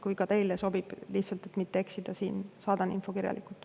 Kui ka teile sobib – lihtsalt et mitte eksida siin –, saadan info kirjalikult.